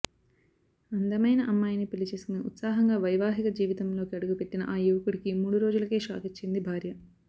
అందమైన అమ్మాయిని పెళ్లి చేసుకుని ఉత్సాహంగా వైవాహిక జీవితంలోకి అడుగుపెట్టిన ఆ యువకుడికి మూడు రోజులకే షాకిచ్చింది భార్య